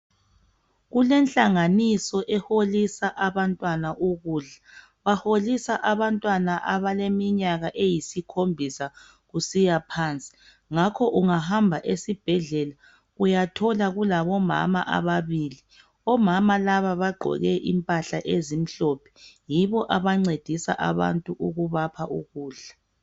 Kulenhlanganiso eholisa abantwana ukudla baholisa abantwana abaleminyaka eyisikhombisa kusiya phansi ngakho ungahamba esibhedlela uyathola kulabomama ababili omama laba bagqoke impahla ezimhlophe yibo abancedisa abantu ukubapha ukudla.